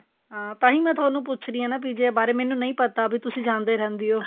ਹਾਂ ਤਾਂਹੀ ਮੈਂ ਤੁਹਾਨੂੰ ਪੁੱਛ ਰਹੀ ਆਂ ਨਾ ਜੇ ਬਾਰੇ ਮੈਂਨੂੰ ਨਹੀਂ ਪਤਾ ਵੀ ਤੁਸੀਂ ਜਾਂਦੇ ਰਹਿੰਦੇ ਓ